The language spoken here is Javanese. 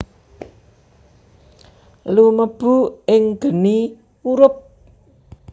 Lumebu ing geni murub